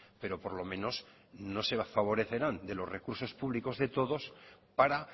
pero por lo menos no se favorecerán de los recursos públicos de todos para